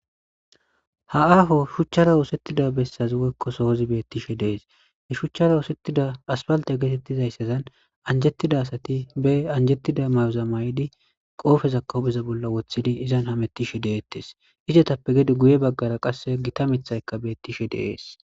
Ha aaho shchara osetida besas woykko sohos betishe de'es , ha sohos asphalte getetizaysan anjetida asat be anjetida mayoza mayid qopezaka hu'en wothid mamutishe de'etes, izetappe gede guye bagara gita mithayka de'es.